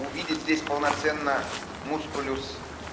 увидеть здесь полноценно мускулюс